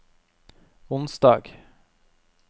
onsdag